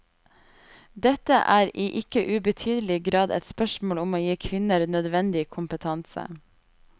Dette er i ikke ubetydelig grad et spørsmål om å gi kvinner nødvendig kompetanse.